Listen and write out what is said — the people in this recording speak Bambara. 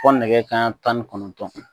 Ko nɛgɛ kaɲan tan ni kɔnɔntɔn.